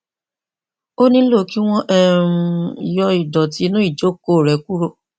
ó nílò kí wọn um yọ ìdọtí inú ìjókòó rẹ kúrò